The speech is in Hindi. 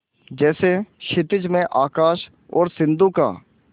जैसे क्षितिज में आकाश और सिंधु का